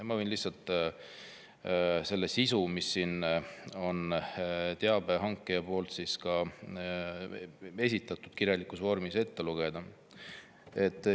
Ma võin selle sisu, mille teabe esitas kirjalikus vormis, ette lugeda.